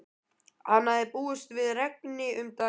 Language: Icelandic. Hann hafði búist við regni um daginn.